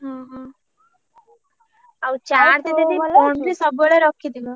ହଁ ହଁ ଆଉ charge ଦିଦି phone ରେ ସବୁବେଳେ ରଖିଥିବ।